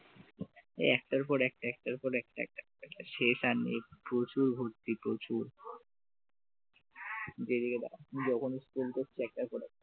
একটাপর একটার পর একটা একটার পর একটা একটা শেষ আর নেই প্রচুর ভর্তি প্রচুর যেদিকে দাঁড়ায় যখন school করছে একটার পর একটা,